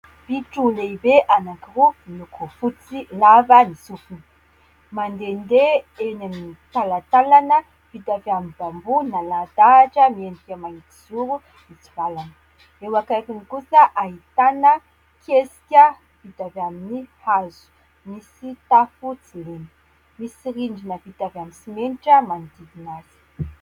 Bitro lehibe anankiroa miloko fotsy, lava ny sofiny ; mandehandeha eny amin'ny talantalana vita avy amin'ny " bambou ", nalahadahatra miendrika mahitsizoro mitsivalana. Eo akaikiny kosa ahitana kesika vita avy amin'ny hazo, misy tafo tsy lena, misy rindrina vita avy amin'ny simenitra manodidina azy.